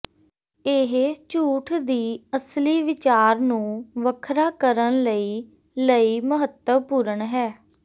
ਇਹ ਝੂਠ ਦੀ ਅਸਲੀ ਵਿਚਾਰ ਨੂੰ ਵੱਖਰਾ ਕਰਨ ਲਈ ਲਈ ਮਹੱਤਵਪੂਰਨ ਹੈ